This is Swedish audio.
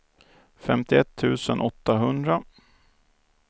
femtioett tusen åttahundra